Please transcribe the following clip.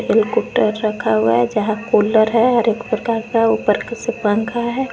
Helicopter रखा हुआ है यहां कूलर है और एक प्रकार का ऊपर से पंखा है।